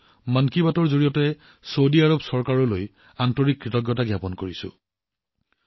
লগতে মন কী বাতৰ জৰিয়তে চৌদি আৰৱ চৰকাৰৰ প্ৰতি আন্তৰিক কৃতজ্ঞতা জ্ঞাপন কৰিছো